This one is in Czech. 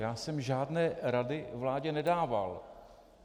Já jsem žádné rady vládě nedával.